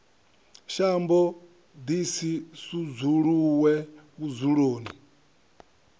shambo ḓi si sudzuluwe vhudzuloni